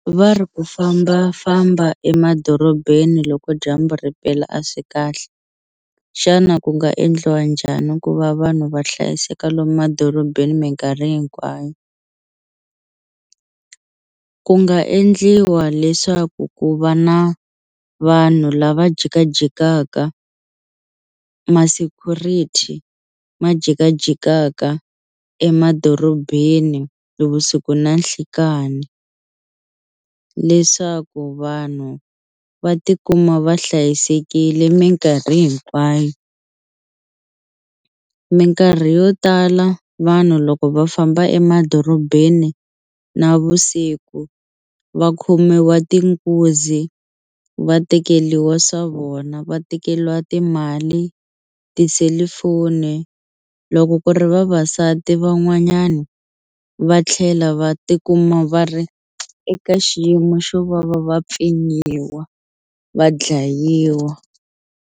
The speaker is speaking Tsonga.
Va ri ku fambafamba emadorobeni loko dyambu ri pela a swi kahle xana ku nga endliwa njhani ku va vanhu va hlayiseka lomu madorobeni minkarhi hinkwayo? Ku nga endliwa leswaku ku va na vanhu lava jikajikaka ma-security ma jikajikaka emadorobeni nivusiku na nhlikani leswaku vanhu va tikuma va hlayisekile minkarhi hinkwayo minkarhi yo tala vanhu loko va famba emadorobeni navusiku va khomiwa tinkunzi va tekeliwa swa vona va tekeliwa timali tiselifoni loko ku ri vavasati van'wanyani va tlhela va tikuma va ri eka xiyimo xo va va va pfinyiwa va dlayiwa.